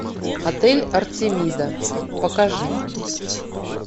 отель артемида покажи